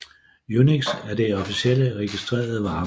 UNIX er det officielle registrerede varemærke